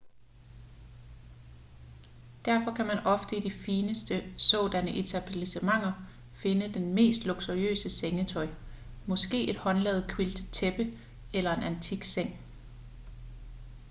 derfor kan man ofte i de fineste sådanne etablissementer finde det mest luksuriøse sengetøj måske et håndlavet quiltet tæppe eller en antik seng